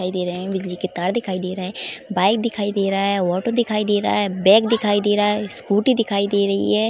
दिखाई दे रहे हैं बिजली के तार दिखाई दे रहे हैं बाइक दिखाई दे रहा है ऑटो दिखाई दे रहा है बैग दिखाई दे रहा है स्कूटी दिखाई दे रही है।